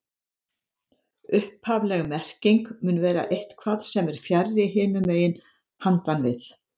Upphafleg merking mun vera eitthvað sem er fjarri, hinum megin, handan við